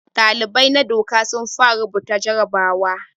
Dalibai na doka sun fara rubuta jarabawa.